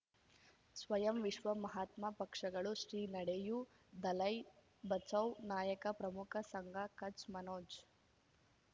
ಸ್ವಯಂ ವಿಶ್ವ ಮಹಾತ್ಮ ಪಕ್ಷಗಳು ಶ್ರೀ ನಡೆಯೂ ದಲೈ ಬಚೌ ನಾಯಕ ಪ್ರಮುಖ ಸಂಘ ಕಚ್ ಮನೋಜ್